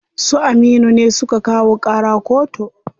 Su Aminu ne suka kawo ƙara koto.